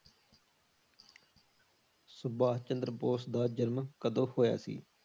ਸੁਭਾਸ਼ ਚੰਦਰ ਬੋਸ ਦਾ ਜਨਮ ਕਦੋ ਹੋਇਆ ਸੀ?